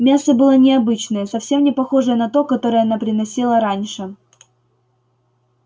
мясо было необычное совсем не похожее на то которое она приносила раньше